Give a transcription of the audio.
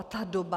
A ta doba...